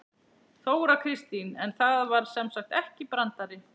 Þóra Kristín: En það var sem sagt ekki brandari?